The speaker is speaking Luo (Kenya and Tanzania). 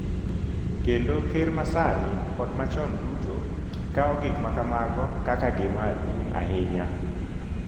Kendo ker ma sani kod machon duto kawo gik ma kamago kaka gima duong’ ahinya.